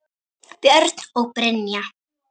Björn og Brynja.